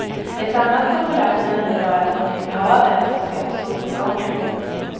Ett annat populärt nöje var att gå ned till havet och se på solnedgången.